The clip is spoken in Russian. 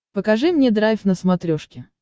покажи мне драйв на смотрешке